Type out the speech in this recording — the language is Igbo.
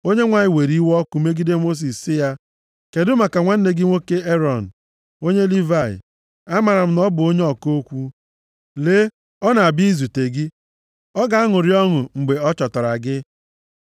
Onyenwe anyị were iwe dị ọkụ megide Mosis sị ya, “Kedụ maka nwanne gị nwoke Erọn onye Livayị, amaara m na ọ bụ onye ọka okwu. Lee, ọ na-abịa izute gị. Ọ ga-aṅụrị ọṅụ mgbe ọ chọtara gị.